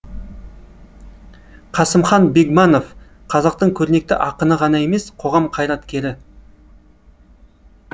қасымхан бегманов қазақтың көрнекті ақыны ғана емес қоғам қайраткері